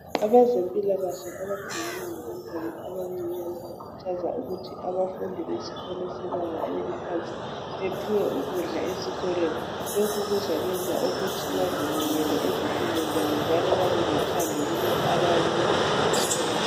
abezempilakahle abakhangela ngabantwana abancinyane bakhuthaza ukuthi abafundi besikolo sebanga eliphansi bephiwe ukudla esikolweni lokhu kuzayenza ukuthi bezinikele njalo bebelothando kulokhu abayabe bekufunda esikolweni